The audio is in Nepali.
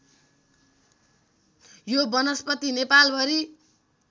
यो वनस्पति नेपालभरि